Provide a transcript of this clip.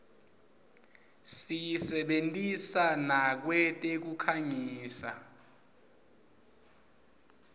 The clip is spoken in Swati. siyisebentisa nakwetekukhangisa